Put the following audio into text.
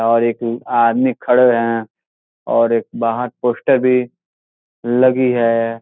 और एक आदमी खड़े हैं और एक बाहर पोस्टर भी लगी है।